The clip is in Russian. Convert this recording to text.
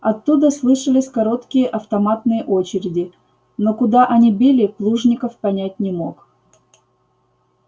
оттуда слышались короткие автоматные очереди но куда они били плужников понять не мог